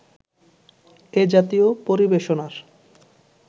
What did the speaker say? এ-জাতীয় পরিবেশনার